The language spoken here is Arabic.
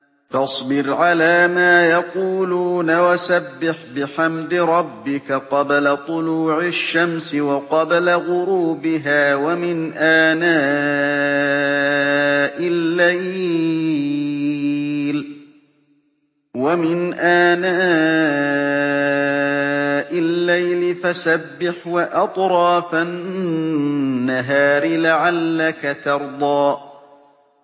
فَاصْبِرْ عَلَىٰ مَا يَقُولُونَ وَسَبِّحْ بِحَمْدِ رَبِّكَ قَبْلَ طُلُوعِ الشَّمْسِ وَقَبْلَ غُرُوبِهَا ۖ وَمِنْ آنَاءِ اللَّيْلِ فَسَبِّحْ وَأَطْرَافَ النَّهَارِ لَعَلَّكَ تَرْضَىٰ